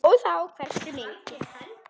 Og þá hversu mikið.